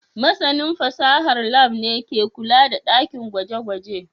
Masanin fasahar Lab ne ke kula da dakin gwaje-gwaje